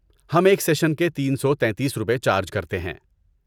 ہم ایک سیشن کے تین سوتیتیس روپے چارج کرتے ہیں